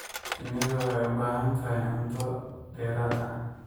Shinnidu waxay u baahan tahay cunto dheeraad ah.